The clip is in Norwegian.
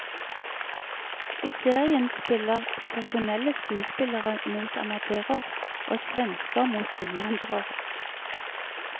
I serien spiller profesjonelle skuespillere mot amatører, og svensker mot innvandrere.